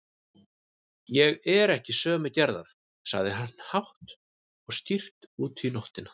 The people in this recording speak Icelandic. Ég er ekki sömu gerðar, sagði hann hátt og skýrt út í nóttina.